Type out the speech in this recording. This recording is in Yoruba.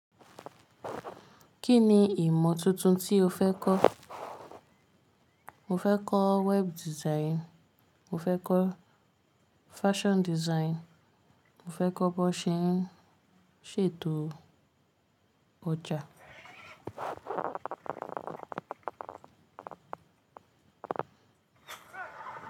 Kí ni ìmọ̀ tuntun tí o fẹ́ kọ́? Mo fẹ́ kọ web design, mo fẹ́ kọ fashion design, mo fẹ́ kọ bí wón ṣe ń ṣètò ọjà.